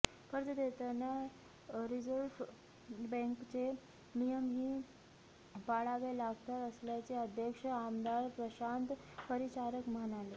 कर्ज देताना रिझर्व्ह बँकेचे नियम ही पाळावे लागतात असल्याचे अध्यक्ष आमदार प्रशांत परिचारक म्हणाले